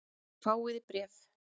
Þér fáið bréf!